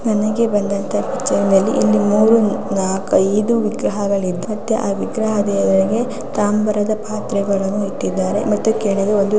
ನನಗೆ ಬಂದಂಥ ಪಿಕ್ಚರ್ ನಲ್ಲಿ ಇಲ್ಲಿ ಮೂರೂ ನಾಲ್ಕ್ ಐದು ವಿಗ್ರಹಗಳು ಇದ್ದವೇ ಆ ವಿಗ್ರಹದ ದೇವರಿಗೆ ತಾಮ್ರದ ಪಾತ್ರೆಗಳನ್ನು ಇಟ್ಟಿದ್ದಾರೆ ಮತ್ತೆ ಕೆಳಗೆ ಒಂದು --